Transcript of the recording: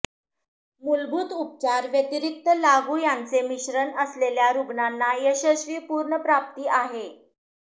मूलभूत उपचार व्यतिरिक्त लागू यांचे मिश्रण असलेल्या रुग्णांना यशस्वी पुनर्प्राप्ती आहे